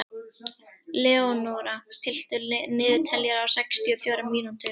Leónóra, stilltu niðurteljara á sextíu og fjórar mínútur.